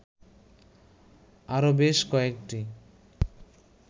আরো বেশ কয়েকটি